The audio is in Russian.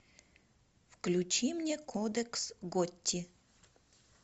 включи мне кодекс готти